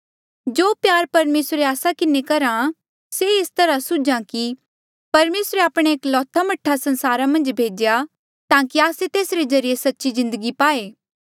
जो प्यार परमेसर आस्सा किन्हें करहा से एस तरहा सूझा कि परमेसरे आपणा एकलौता मह्ठा संसारा मन्झ भेज्या ताकि आस्से तेसरे ज्रीए सच्ची जिन्दगी पाए